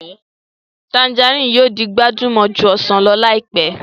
Tanjarínnì yóò di gbajúmọ̀ ju ọsàn lọ láìpẹ́